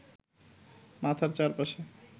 মাথার চারপাশে